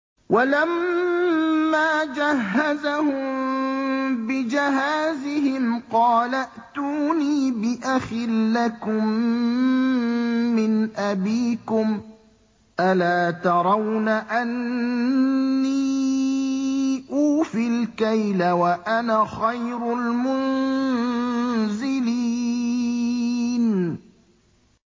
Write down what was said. وَلَمَّا جَهَّزَهُم بِجَهَازِهِمْ قَالَ ائْتُونِي بِأَخٍ لَّكُم مِّنْ أَبِيكُمْ ۚ أَلَا تَرَوْنَ أَنِّي أُوفِي الْكَيْلَ وَأَنَا خَيْرُ الْمُنزِلِينَ